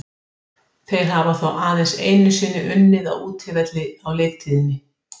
Ómar Jóhannsson markvörður Keflvíkinga fór á kostum í leiknum og bjargaði oft mjög vel.